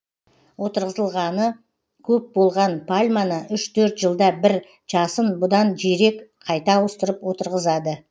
отырғызылғаны көп болған пальманы үш төрт жылда бір жасын бұдан жирек қайта ауыстырып отырғызады